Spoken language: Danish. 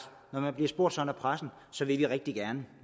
når de bliver spurgt af pressen så vil de rigtig gerne